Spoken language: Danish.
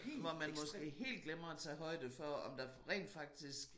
Hvor man måske helt glemmer at tage højde for om der rent faktisk